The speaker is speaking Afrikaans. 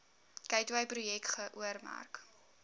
gateway projek geoormerk